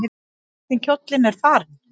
Hvernig kjóllinn er farinn!